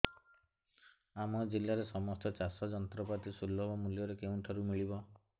ଆମ ଜିଲ୍ଲାରେ ସମସ୍ତ ଚାଷ ଯନ୍ତ୍ରପାତି ସୁଲଭ ମୁଲ୍ଯରେ କେଉଁଠାରୁ ମିଳିବ